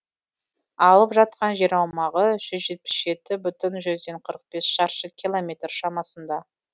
алып жатқан жер аумағы жүз жетпіс жеті бүтін жүзден қырық бес шаршы километр шамасында